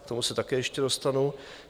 K tomu se také ještě dostanu.